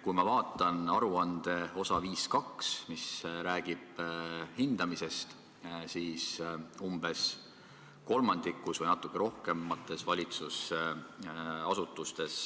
Kui ma vaatan aruande osa 5.2, mis räägib hindamisest, siis näen, et umbes kolmandikus või natuke rohkemates valitsusasutustes